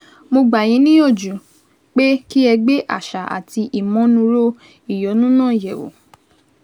Mo gbà yín níyànjú pé kí ẹ gbé àṣà àti ìmọnúúrò ìyọnu náà yẹ̀wò